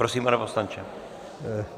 Prosím, pane poslanče.